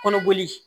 Kɔnɔboli